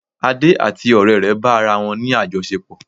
Ade àti ọrẹ rẹ bá ara wọ́n ní àjọṣepọ̀